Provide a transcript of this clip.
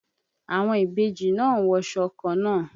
Àwọn ìbejì náà ń wọṣọ kannáà.